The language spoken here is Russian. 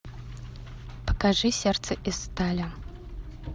покажи сердце из стали